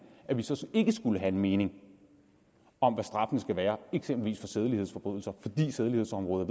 at vi så ikke skal have en mening om hvad straffen skal være eksempelvis for sædelighedsforbrydelser fordi sædelighedsområdet